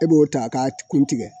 E b'o ta k'a kun tigɛ